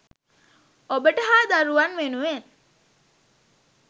ඔබට හා දරුවන් වෙනුවෙන්